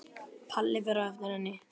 Palli fer á eftir henni.